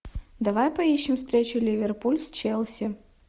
давай поищем встречу ливерпуль с челси